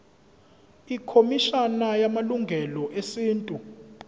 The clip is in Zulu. ikhomishana yamalungelo esintu